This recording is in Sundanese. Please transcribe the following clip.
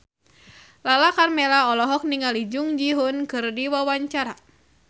Lala Karmela olohok ningali Jung Ji Hoon keur diwawancara